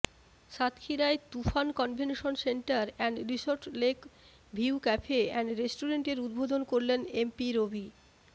সাতক্ষীরায় Tufan convention centre and resort lake view cafe and রেস্টুরেন্টের উদ্বোধণ করলেন এমপি রবি